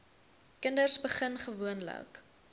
kinders begin gewoonlik